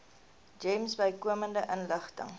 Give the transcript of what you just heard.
gems bykomende inligting